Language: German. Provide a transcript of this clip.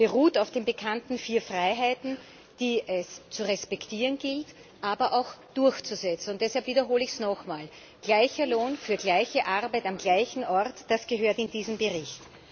Er beruht auf den bekannten vier Freiheiten, die es zu respektieren, aber auch durchzusetzen gilt. Und deshalb wiederhole ich es nochmal gleicher Lohn für gleiche Arbeit am gleichen Ort das gehört in diesen Bericht.